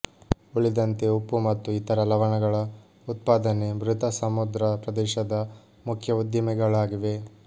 ಉಳಿದಂತೆ ಉಪ್ಪು ಮತ್ತು ಇತರ ಲವಣಗಳ ಉತ್ಪಾದನೆ ಮೃತ ಸಮುದ್ರ ಪ್ರದೇಶದ ಮುಖ್ಯ ಉದ್ದಿಮೆಗಳಾಗಿವೆ